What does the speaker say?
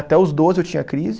Até os doze eu tinha crise.